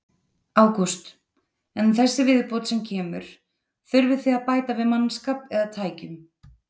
Ágúst: En þessi viðbót sem kemur, þurfið þið að bæta við mannskap eða tækjum?